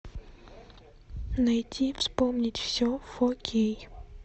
найти вспомнить все фо кей